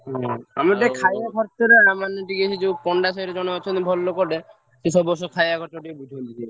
ସେ ସବୁ ବର୍ଷ ଖାଇଆ ଖର୍ଚ୍ଚ ଟିକେ ବୁଝନ୍ତି।